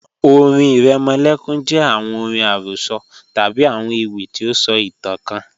ọ̀rìn iremolekun jẹ awọn ọ̀rìn arosọ tabi awọn ewi ti o sọ itan kan